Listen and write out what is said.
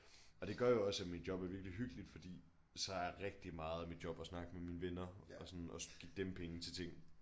Og det gør jo også at mit job er virkelig hyggeligt fordi så er rigtig meget af mit job at snakke med mine venner og sådan og give dem penge til ting